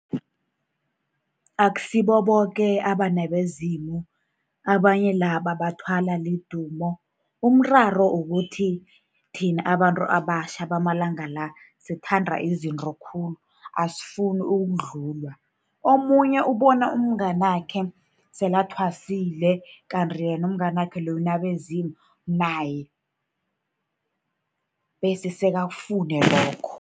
Akusibo boke abanabezimu, abanye la bathwalwa lidumo. Umraro kukuthi thina abantu abatjha bamalanga la, sithanda izinto khulu, asifuni ukudlulwa. Omunye ubona umnganakhe sele athwasile, kanti yena umnganakhe loyo unabezimu, naye bese sekakufune lokho.